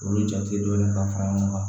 Olu jate dɔɔnin ka fara ɲɔgɔn kan